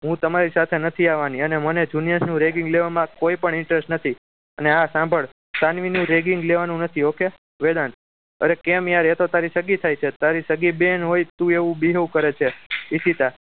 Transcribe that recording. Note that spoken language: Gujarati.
હું તમારી સાથે નથી આવવાની અને મને junior નું ragging લેવામાં કોઈ પણ interest નથી અને હા સાંભળ સાનવી નું ragging લેવાનું નથી okay વેદાંત અરે કેમ યાર એ તો તારી સગી થાય છે તારી સગી બેન હોય તો એવું behave કરે છે ઈશિતા